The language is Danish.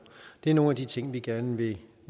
det er nogle af de ting vi gerne vil